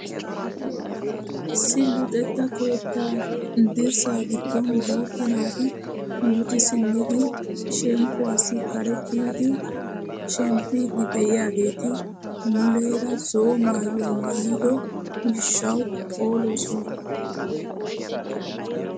Issi luxettaa keettaa dirssaa giddon guutta naati luxi simmidi shemppuwaassi kare kiyidi shemppiidi de'iyaageti muleera zo'o maayuwaa maayido gishshawu phoolosona!